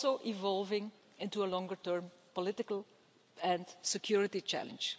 evolving into a longer term political and security challenge.